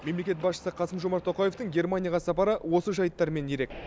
мемлекет басшысы қасым жомарт тоқаевтың германияға сапары осы жайттармен ерек